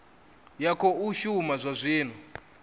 ya khou shuma zwa zwino